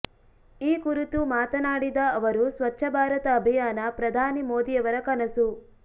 ಈ ಕುರಿತು ಮಾತನಾಡಿದ ಅವರು ಸ್ವಚ್ಛ ಭಾರತ ಅಭಿಯಾನ ಪ್ರಧಾನಿ ಮೋದಿಯವರ ಕನಸು